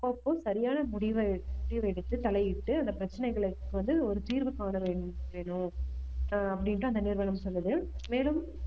அப்பப்போ சரியான முடிவு எடு~ முடிவு எடுத்து தலையிட்டு அந்த பிரச்சனைகளுக்கு வந்து ஒரு தீர்வு காண வே~ வேண்டும் ஆஹ் அப்படின்னுட்டு அந்த நிறுவனம் சொல்லுது மேலும்